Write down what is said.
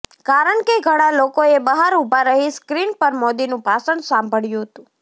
કારણ કે ઘણા લોકોએ બહાર ઊભા રહી સ્ક્રીન પર મોદીનું ભાષણ સાંભળ્યું હતું